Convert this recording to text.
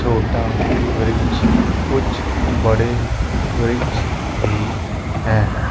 छोटा वृक्ष कुछ बड़े वृक्ष भी हैं।